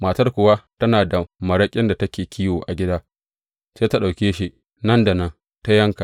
Matar kuwa tana da maraƙin da take kiwo a gida, sai ta ɗauke shi nan da nan ta yanka.